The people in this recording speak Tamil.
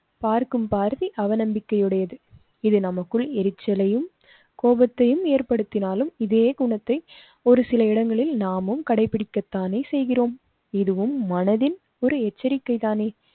பார்க்கும் பார்வை அவநம்பிக்கை உடையது. இது நமக்குள் எரிச்சலையும் கோபத்தையும் ஏற்படுத்தினாலும், இதே குணத்தை ஒரு சில இடங்களில் நாமும் கடைபிடிக்கதானே செய்கிறோம். இதுவும் மனதில் ஒரு எச்சரிக்கை தானே